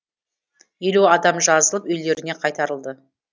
елу адам жазылып үйлеріне қайтарылды